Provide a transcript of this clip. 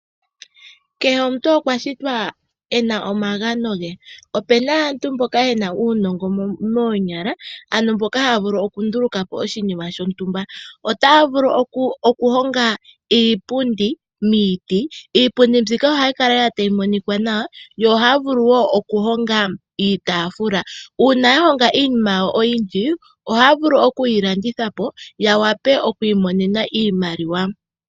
Kehe omuntu okwashitwa ena omagano ge, opena aantu mboka yena uunongo moonyala haya vulu okundulukapo oshinima shontumba. Ohaya vulu okuhonga iipundi miiti. Iipundi mbika ohayi kala tayi monika nawa, ohaya vulu wo nokuhonga iitafula. Uuna iinima mbino yeyi ninga oyindji ohaya vulu oku yilandithapo yamone iimaliwa.